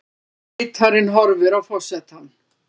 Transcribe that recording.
Ritararnir horfa á forsetann.